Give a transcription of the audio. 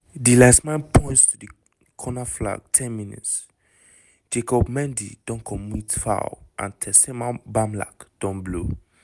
di linesman points to di corner flag ten mins - jacob mendy don commit foul and tessema bamlak don blow